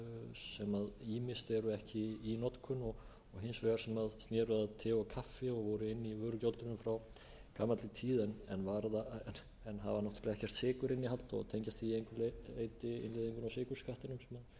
ýmist eru ekki í notkun og hins vegar sem sneru að te og kaffi og voru inni í vörugjöldunum frá gamalli tíð en hafa náttúrlega ekkert sykurinnihald og tengjast því að engu leyti innleiðingu á sykurskattinum sem